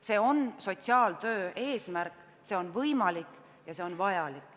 See on sotsiaaltöö eesmärk, ja see on võimalik ja see on vajalik.